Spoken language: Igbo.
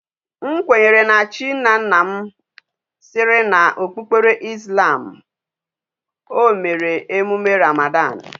M kwenyere na chi nna nna m.siri na okpukpere Islam, o mere emume Ramadan